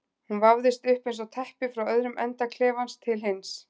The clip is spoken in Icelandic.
Hún vafðist upp eins og teppi frá öðrum enda klefans til hins.